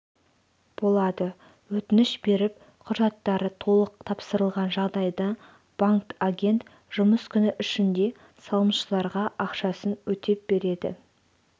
болады өтініш беріп құжаттары толық тапсырылған жағдайда банк-агент жұмыс күні ішінде салымшыларға ақшасын өтеп береді